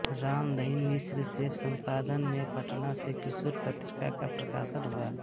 राम दहिन मिश्र से संपादन में पटना से किशोर पत्रिका का प्रकाशन हुआ